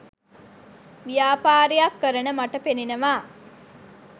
ව්‍යාපාරයක් කරන මට පෙනෙනවා